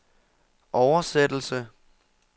oversættelse